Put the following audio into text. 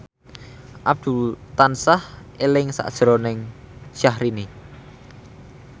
Abdul tansah eling sakjroning Syahrini